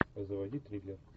заводи триллер